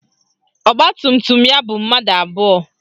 Ọgbatumtum ya bu mmadụ abụọ